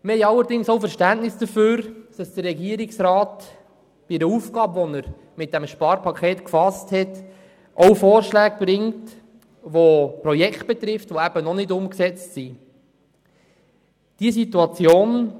Wir haben allerdings ebenfalls Verständnis dafür, dass der Regierungsrat bei der Aufgabe, die er mit dem Sparpaket gefasst hat, auch Vorschläge bringt, die noch nicht umgesetzte Projekte betreffen.